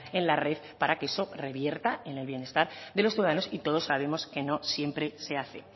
en la red para que eso revierta en el bienestar de los ciudadanos y todos sabemos que no siempre se hace